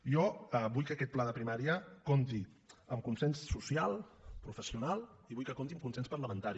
i jo vull que aquest pla de primària compti amb consens social professional i vull que compti amb consens parlamentari